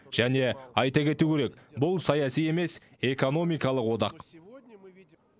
және айта кету керек бұл саяси емес экономикалық одақ